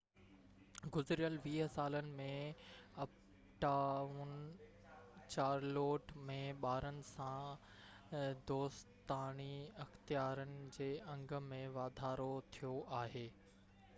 گذريل 20 سالن ۾ Uptown Charlotte ۾ ٻارن سان دوستاڻي اختيارن جي انگ ۾ واڌارو ٿيو آهي